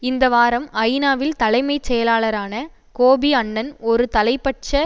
இந்த வாரம் ஐநாவில் தலைமை செயலாளரான கோபி அன்னன் ஒரு தலைப்பட்ச